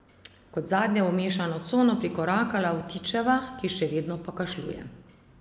Kot zadnja je v mešano cono prikorakala Vtičeva, ki še vedno pokašljuje.